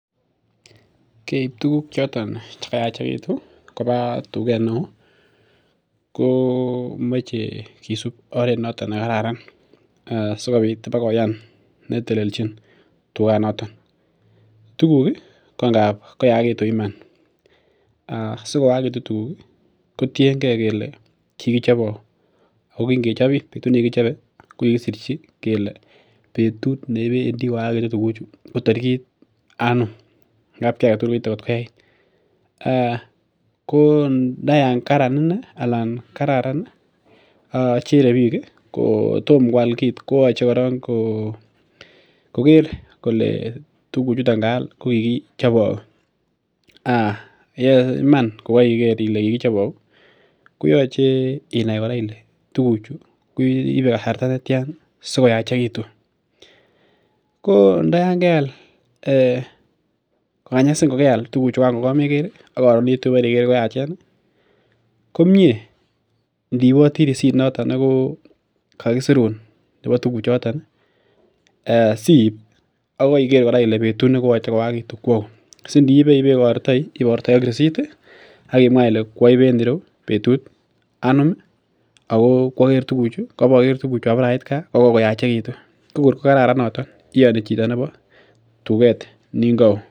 Keib tuguk choton chekayachegitun ih, kobaa tuget neoo ko mache kisub oret noton nekararan. sikobit ibokoyan netelelchin tuget noton. Tuguk ko ngab koyakitun iman. Sikoyagitun tuguk kotienge kele kikichobe hauu ago kingechob ih kingechobe kokikisirchi kele betut nebendi koyagitu tuguchu ko tarigit anum. Ngab kiagetugul koite kotkoyait. Ko ndo yaan kararan inei anan kararan acherebik ko kotom kual kit koyache koron koker kole tuguchuton kaal kokikichobe hau. Yeiman kokaiker Ile kikichobe auu ih koyache inai kora Ile tuguchu koibe kasarta netian sikoyaachekitun. Ko ndayaan keal kokanyasin kokeal tuguchugan komeger ak karon ih tu koyachen ih komie indiiboti receipt nekokisirun nebo tuguchuton ih siib akibemwa Ile betut nekoyachekitu koau. Akile kuaibe en ireu betut anum ih ako koaboker tuguchu ko kwabore ait ka kokokoyachegitu. Ko kor kararan noto iani chito nimbo tuget Nini kaoo.